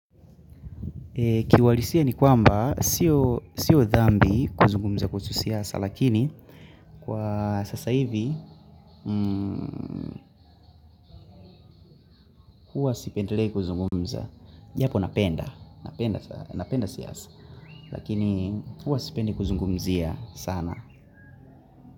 Ki uhalisia ni kwamba siyo dhambi kuzungumza kuhusu siasa lakini kwa sasa hivi huwa sipendelei kuzungumza. Japo napenda, napenda siasa lakini huwa sipendi kuzungumzia sana.